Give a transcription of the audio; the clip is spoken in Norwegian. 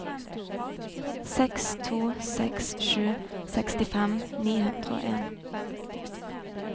seks to seks sju sekstifem ni hundre og en